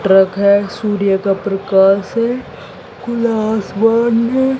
Truck है सूर्य का प्रकाश है खुला आसमान है।